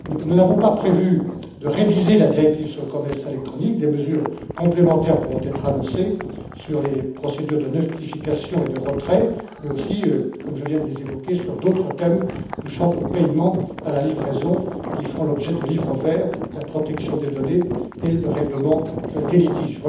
Nous n'avons pas prévu de réviser la directive sur le commerce électronique, mais nous pourrons annoncer des mesures complémentaires sur les procédures de notification et de retrait mais aussi, comme je viens de les évoquer, sur d'autres thèmes touchant aux paiements, à la livraison, qui feront l'objet de livres verts, à la protection des données et au règlement des litiges.